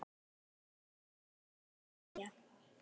Þau þakka og kveðja.